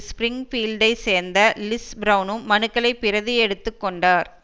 ஸ்பிரிங்பீல்டைச் சேர்ந்த லிஸ் பிரெளனும் மனுக்களை பிரதி எடுத்து கொண்டார்